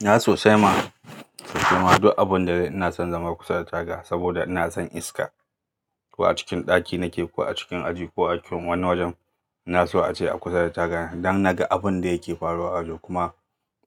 Na sosai ma, sosai ma duk abun zanyi ina son zama kusa da taga, saboda ina son iska. Ko a cikin ɗaki nake, ko a cikin aji, ko a cikin wani wajen, na so a ce a kusa da taga ne don naga abun da yake faruwa a waje kuma